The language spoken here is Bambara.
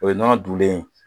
O nɔnɔ dunlen